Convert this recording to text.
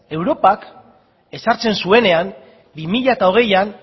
europak ezartzen zuenean bi mila hogeian